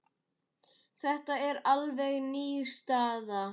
Þetta er alveg ný staða.